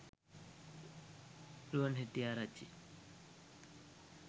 ruwan hettiarachchi